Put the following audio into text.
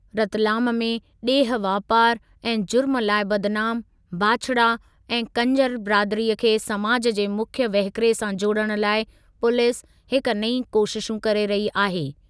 रतलाम में ॾेह वापारु ऐं ज़ुर्म लाइ बदिनाम बांछड़ा ऐं कंजर बिरादरीअ खे समाजु जे मुख्यु वहुकिरे सां जोड़ण लाइ पुलीस हिकु नईं कोशिशु करे रही आहे।